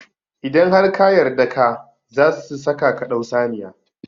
Idan har ka yarda ka, zasu saka ka dau saniya